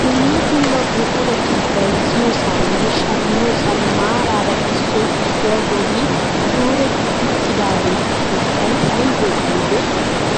Dumma dumma buqurati bayzziyoosaninne shammiyoosani maarara issoy issuwaa bolli kuretti uttidaagetu sunttay aybee aybee?